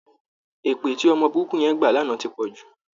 Èpè tí ọmọ burúkú yẹn gbà lánàá ti pọ̀ jù